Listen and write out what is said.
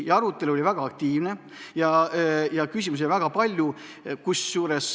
Arutelu oli väga aktiivne ja küsimusi oli väga palju.